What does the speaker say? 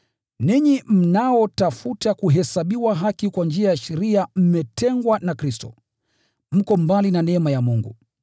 Ninyi mnaotafuta kuhesabiwa haki kwa njia ya sheria mmetengwa na Kristo, mko mbali na neema ya Mungu.